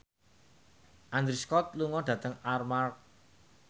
Andrew Scott lunga dhateng Armargh